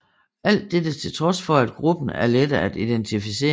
Alt dette til trods for at gruppen er lette at identificere